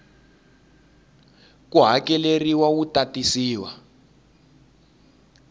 ku hakeleriwa wu ta tisiwa